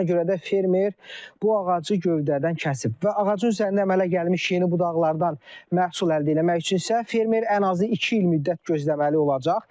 Elə buna görə də fermer bu ağacı gövdədən kəsib və ağacın üzərində əmələ gəlmiş yeni budaqlardan məhsul əldə eləmək üçün isə fermer ən azı iki il müddət gözləməli olacaq.